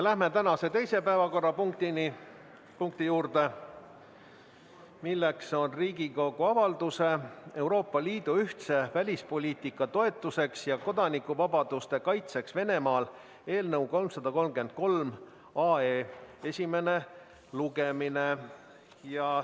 Läheme tänase teise päevakorrapunkti juurde, milleks on Riigikogu avalduse "Euroopa Liidu ühtse välispoliitika toetuseks ja kodanikuvabaduste kaitseks Venemaal" eelnõu 333 esimene lugemine.